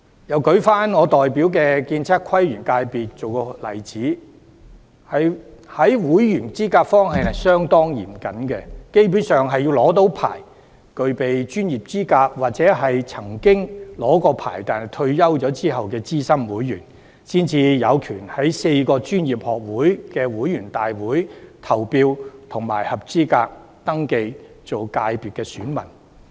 又以我代表的建測規園界為例，這個界別在會員資格方面相當嚴謹，基本上必須是持牌、具備專業資格的人士，或曾經持牌的退休資深會員，才有權在4個專業學會的會員大會上投票，以及合資格登記為界別選民。